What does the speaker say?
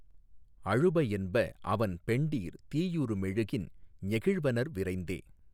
அழுப என்பஅவன் பெண்டிர் தீயுறு மெழுகின் ஞெகிழ்வனர் விரைந்தே